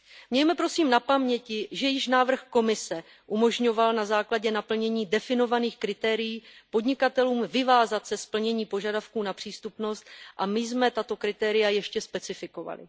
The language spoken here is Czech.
Mějme, prosím, na paměti, že již návrh Komise umožňoval na základě naplnění definovaných kritérií podnikatelům vyvázat se z plnění požadavků na přístupnost a my jsme tato kritéria ještě specifikovali.